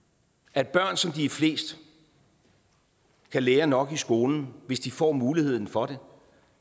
at børn som de er flest kan lære nok i skolen hvis de får muligheden for det